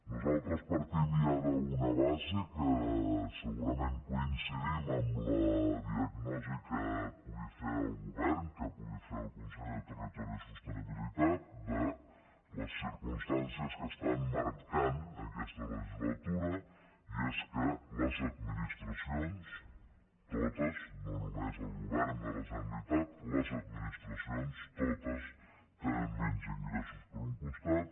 nosaltres partim ja d’una base que segurament coincidim amb la diagnosi que pugui fer el govern que pugui fer el conseller de territori i sostenibilitat de les circumstàncies que estan marcant aquesta legislatura i és que les administracions totes no només el govern de la generalitat les administracions totes tenen menys ingressos per un costat